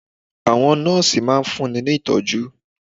Àwọn Nọ́ọ̀sì máa fun ní Ìtọ́jú.